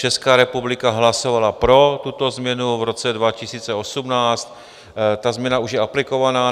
Česká republika hlasovala pro tuto změnu v roce 2018, ta změna už je aplikovaná.